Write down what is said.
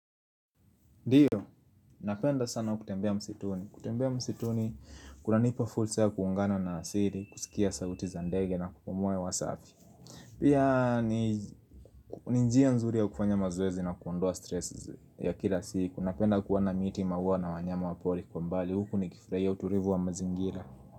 Ndiyo, napenda sana kutembea msituni. Kutembea msituni, kuna nipa fursa ya kuungana na asili, kusikia sauti za ndege na kupumua hewa safi. Pia, ni njia nzuri ya kufanya mazoezi na kuondoa stress ya kila siku. Napenda kuona miti maua na wanyama wapoli kwa mbali. Huku nikifurahia utulivu wa mazingira.